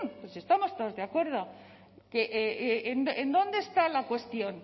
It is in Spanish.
pues estamos todos de acuerdo que en dónde está la cuestión